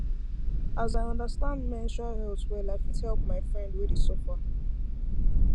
as i understand menstrual health well i fit help my friend wey dey suffer